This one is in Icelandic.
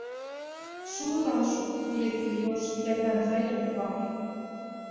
Sú rannsókn leiddi í ljós fleira en þægilegt var.